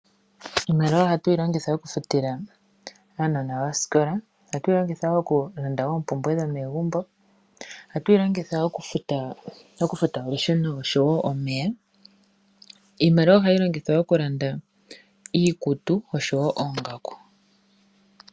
Iimaliwa ohatu yi longitha okufutila aanona oosikola. Ohatu yi longitha okulanda oompumbwe dhomegumbo. Ohatu yi longitha okufuta olusheno oshowo omeya. Iimaliwa oha yi longithwa okulanda iikutu oshowo oongaku.